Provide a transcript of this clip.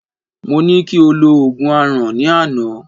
Mọ ní kí o lo Ògùn Aràn, ní àná.